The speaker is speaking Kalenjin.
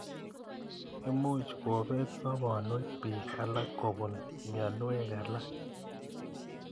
Imuch kopeet soponwek piik alak kopun mianwek alak